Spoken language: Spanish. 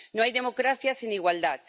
No hay democracia sin igualdad.